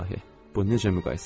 Bu necə müqayisədir?